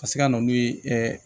Ka se ka na n'u ye